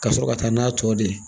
Ka sɔrɔ ka taa n'a tɔ de ye